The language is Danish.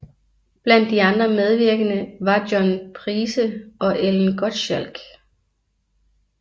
Blandt de andre medvirkende var John Price og Ellen Gottschalch